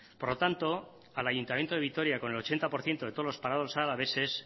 por lo tanto al ayuntamiento de vitoria con el ochenta por ciento de todos los parados alaveses